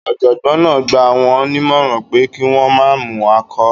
Ọ̀jọ̀gbọ́n náà gbà wọ́n nímọ̀ràn pé kí wọ́n má mu alchol